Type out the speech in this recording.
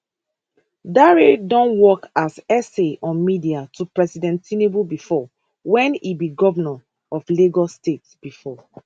dare don work as sa on media to president tinubu bifor wen e be govnor of lagos state bifor